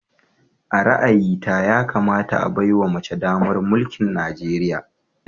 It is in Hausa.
A ra'ayita, yakamata a baiwa mace damar mulkin Najeriya